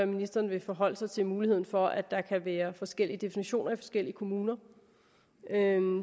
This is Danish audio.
ministeren vil forholde sig til muligheden for at der kan være forskellige definitioner i forskellige kommuner